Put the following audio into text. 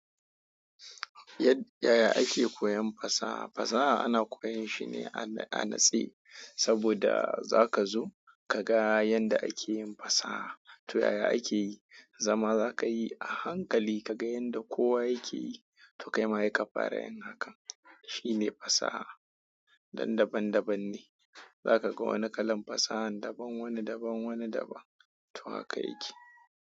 Yadda ya ake koyon fasaha. Fasaha ana koyon shi ne a natse saboda za ka zo ka ga yanda ake yin fasaha. To yaya ake yi? Zama za ka yi a hankali ka ga yanda kowa yake yi. To kai ma ya ka fara yin naka. Shi ne fasaha. Dan daban daban ne. Za ka ga wani kalan fasahan daban, wani daban, wani daban. To haka yake.